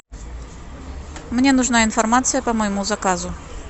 мне нужна информация по моему заказу